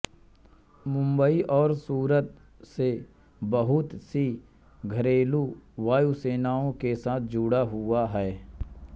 मुम्बई और सूरत से बहुत सी घरेलू वायुसेवाओं के साथ जुड़ा हुआ है